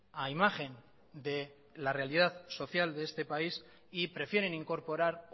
a imagen de la realidad social de este país y prefieren incorporar